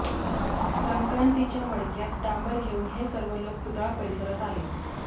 संक्रांतीच्या मडक्यात डांबर घेऊन हे सर्व लोक पुतळा परिसरात आले